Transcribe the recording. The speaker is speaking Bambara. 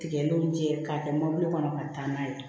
Tigɛlen don jɛ k'a kɛ mobili kɔnɔ ka taa n'a ye